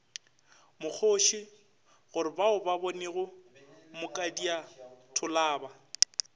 mokgoši gorebao ba bonego mokadiatholaba